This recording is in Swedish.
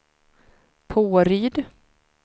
Påryd